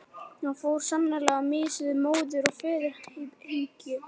Hann fór sannarlega á mis við móður- og föðurumhyggju.